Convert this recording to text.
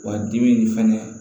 Wa dimi nin fɛnɛ